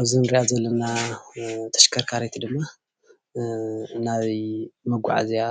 እዚ እንሪኣ ዘለና ተሽከርካሪት ድማ ናይ መጓዓዝያ